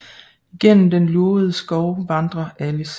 Igennem den lurvede skov vandrer Alice